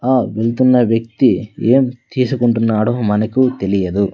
ఆ వెళ్తున్న వ్యక్తి ఏం తీసుకుంటున్నాడో మనకు తెలియదు.